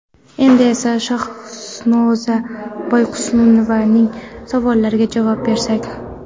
Endi esa Shahnoza Boyqunusovaning savollariga javob bersak.